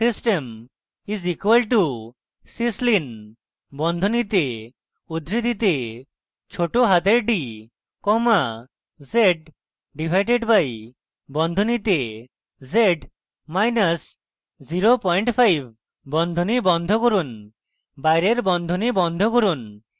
d t system is equal to syslin বন্ধনীতে উদ্ধৃতিতে ছোটহাতের d comma z divided by বন্ধনীতে z মাইনাস 05 বন্ধনী বন্ধ করুন বাইরের বন্ধনী বন্ধ করুন